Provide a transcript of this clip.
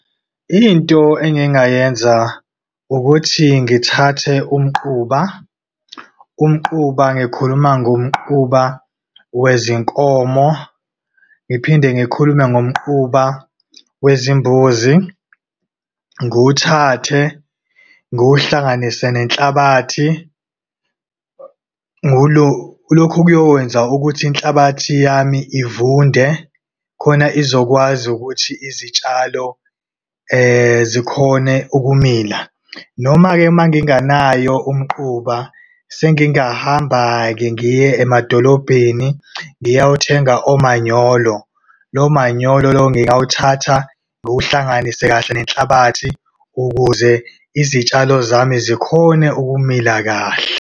Into engingayenza ukuthi ngithathe umquba. Umquba, ngikhuluma ngomquba wezinkomo, ngiphinde ngikhulume ngomquba wezimbuzi. Nguiwuthathe ngiwuhlanganise nenhlabathi lokhu kuyokwenza ukuthi inhlabathi yami ivunde, khona izokwazi ukuthi izitshalo zikhone ukumila. Noma-ke, uma ngingenayo umquba, sengingahamba-ke ngiye emadolobheni, ngiyawuthenga umanyolo. Lo manyolo, lo ngingawuthatha nguhlanganise kahle nenhlabathi, ukuze izitshalo zami zikhone ukumila kahle.